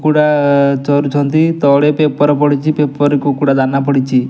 କୁକୁଡ଼ା ଚରୁଛନ୍ତି ତଳେ ପେପର୍ ପଡ଼ିଚି ପେପର୍ ରେ କୁକୁଡା ଦାନା ପଡ଼ିଚି ।